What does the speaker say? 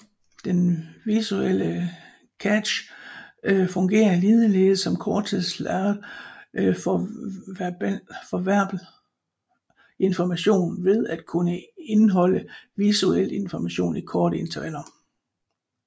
Den visuelle cache fungerer ligeledes som korttidslageret for verbal information ved at kunne indholde visuelt information i korte intervaller